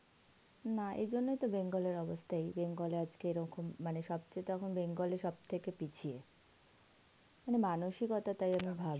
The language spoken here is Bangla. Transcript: না এই জন্যেই তো bengal এর অবস্থা এই, bengal এ আজকে এরকম মানে সবচেয়ে এখন bengal এ সব থেকে পিছিয়ে. মানে মানসিকতা তাই আমি ভাবি,